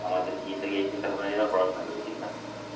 আমাদের কি এই চিন্তা ভাবনা এলেই আমরা পড়াশোনা করি ঠিকনা?